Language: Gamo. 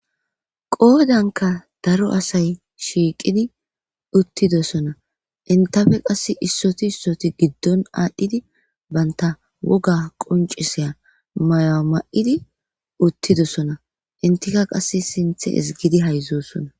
qoodanka daro asay shiiqidi uttidosona intafe qass issoti issoti giddon aadhdhidi baynta woga qonciseya maya ma7idi uttidosona intika qass sinthe isgidi hayzosona